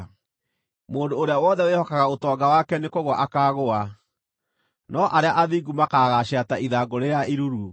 Mũndũ ũrĩa wothe wĩhokaga ũtonga wake nĩkũgũa akaagũa, no arĩa athingu makaagaacĩra ta ithangũ rĩrĩa iruru.